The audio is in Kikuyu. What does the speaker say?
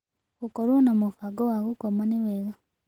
Gũkorwa na mũbango wa gũkoma nĩ wega